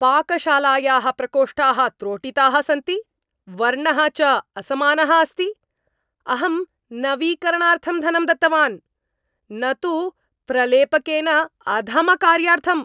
पाकशालायाः प्रकोष्ठाः त्रोटिताः सन्ति, वर्णः च असमानः अस्ति। अहं नवीकरणार्थं धनं दत्तवान्, न तु प्रलेपकेन अधमकार्यार्थम्!